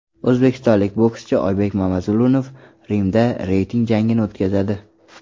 O‘zbekistonlik bokschi Oybek Mamazulunov Rimda reyting jangini o‘tkazadi.